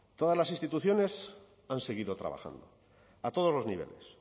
todas las instituciones han seguido trabajando a todos los niveles